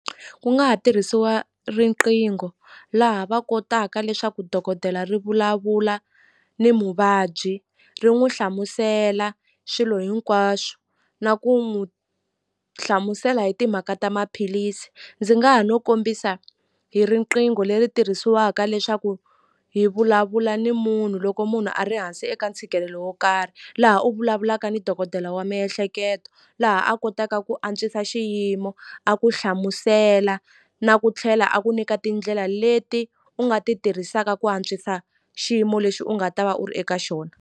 Ku nga ha tirhisiwa riqingho laha va kotaka leswaku dokodela ri vulavula ni muvabyi ri n'wi hlamusela swilo hinkwaswo na ku n'wu hlamusela hi timhaka ta maphilisi ndzi nga ha no kombisa hi riqingho leri tirhisiwaka leswaku hi vulavula ni munhu loko munhu a ri hansi eka ntshikelelo wo karhi laha u vulavulaka ni dokodela wa miehleketo laha a kotaka ku antswisa xiyimo a ku hlamusela na ku tlhela a ku nyika tindlela leti u nga ti tirhisaka ku antswisa xiyimo lexi u nga ta va u ri eka xona.